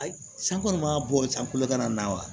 Ayi san kɔni ma bɔ sankolo na wa